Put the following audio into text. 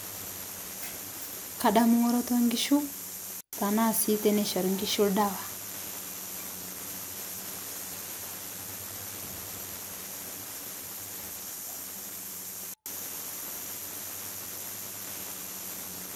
Kadamu ng'oroto nkishu, tenaa sii eneishori nkishu oldawa.